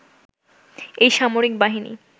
এই সামরিক বাহিনী